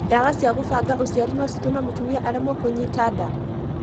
Ndawa cia gũbanga ũciari no citũme mũtumia aremwo kunyita nda?